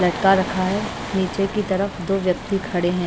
लटका रखा है नीचे की तरफ दो व्यक्ति खड़े हैं।